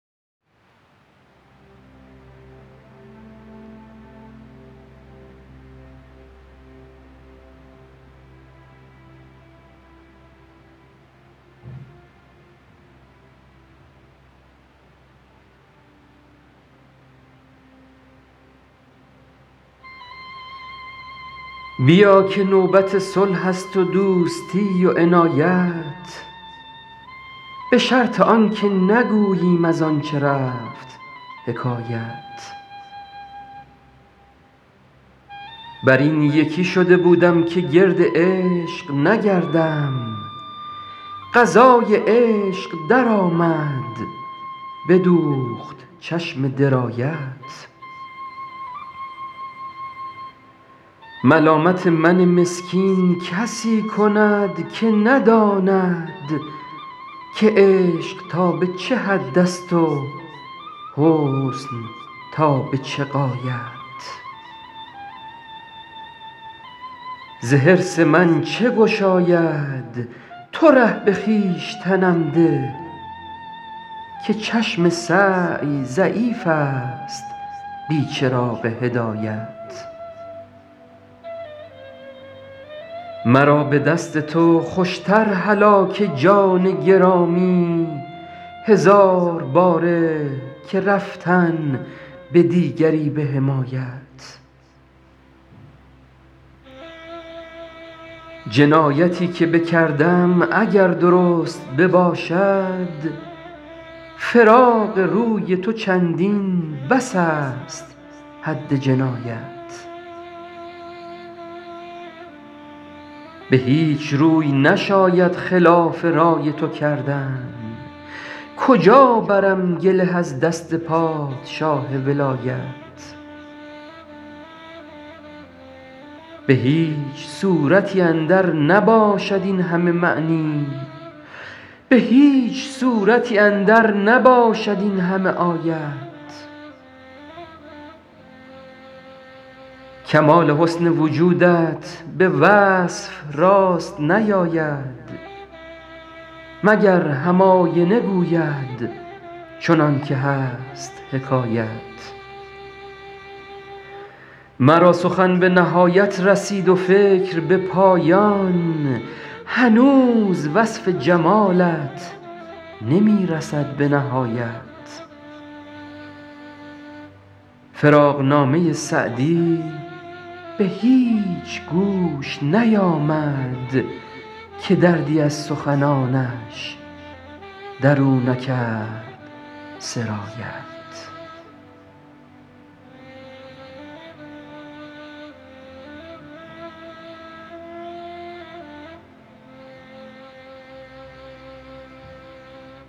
بیا که نوبت صلح است و دوستی و عنایت به شرط آن که نگوییم از آن چه رفت حکایت بر این یکی شده بودم که گرد عشق نگردم قضای عشق درآمد بدوخت چشم درایت ملامت من مسکین کسی کند که نداند که عشق تا به چه حد است و حسن تا به چه غایت ز حرص من چه گشاید تو ره به خویشتنم ده که چشم سعی ضعیف است بی چراغ هدایت مرا به دست تو خوش تر هلاک جان گرامی هزار باره که رفتن به دیگری به حمایت جنایتی که بکردم اگر درست بباشد فراق روی تو چندین بس است حد جنایت به هیچ روی نشاید خلاف رای تو کردن کجا برم گله از دست پادشاه ولایت به هیچ صورتی اندر نباشد این همه معنی به هیچ سورتی اندر نباشد این همه آیت کمال حسن وجودت به وصف راست نیاید مگر هم آینه گوید چنان که هست حکایت مرا سخن به نهایت رسید و فکر به پایان هنوز وصف جمالت نمی رسد به نهایت فراقنامه سعدی به هیچ گوش نیامد که دردی از سخنانش در او نکرد سرایت